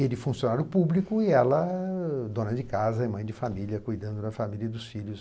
Ele funcionário público e ela dona de casa, mãe de família, cuidando da família e dos filhos.